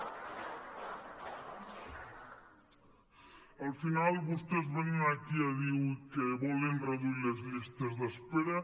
al final vostès venen aquí a dir ui que volen reduir les llistes d’espera